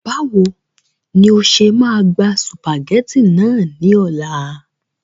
Báwo ni o ṣe máa gba sùpàgẹ́tì náà ní ọ̀la